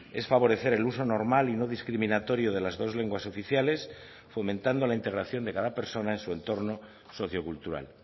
es favorecer el uso normal y no discriminatorio de las dos lenguas oficiales fomentando la integración de cada persona en su entorno sociocultural